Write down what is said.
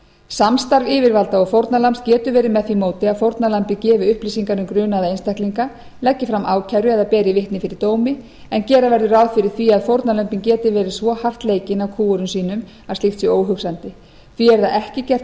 samstarf yfirvalda og fórnarlambs getur verið með því móti að fórnarlambið gefi upplýsingar um grunaða einstaklinga leggi fram ákæru eða beri vitni fyrir dómi en gera verður ráð fyrir því að fórnarlömbin geti verið svo hart leikin af kúgurum sínum að slíkt sé óhugsandi því er það ekki gert